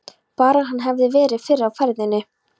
Bara að hann hefði verið fyrr á ferðinni.